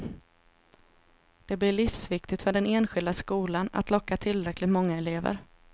Det blir livsviktigt för den enskilda skolan att locka tillräckligt många elever.